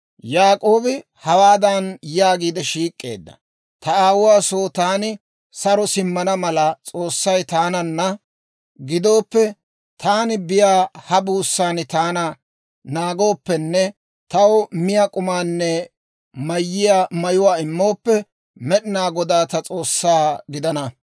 Yaak'oobi hawaadan yaagiide shiik'k'eedda; «Ta aawuwaa soo taani saro simmana mala S'oossay taananna gidooppe, taani biyaa ha buussan taana naagooppenne taw miyaa k'umaanne mayiyaa mayuwaa immooppe, Med'inaa Goday ta S'oossaa gidana;